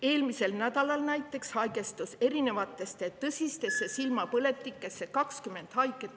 Eelmisel nädalal haigestus näiteks erinevatesse tõsistesse silmapõletikesse 20 haiget …